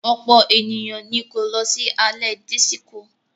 Ọ̀pọ̀ ènìyàn ni kò lọ sí alẹ́ dísíkò.